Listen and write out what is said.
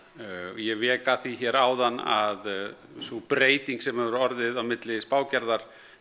ég vék að því hér áðan að sú breyting sem hefur orðið á milli spágerðar